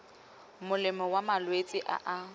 molemo wa malwetse a a